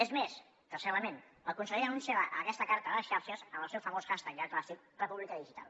és més tercer element el conseller anunciava aquesta carta a les xarxes amb el seu famós hashtag ja clàssic repúblicadigital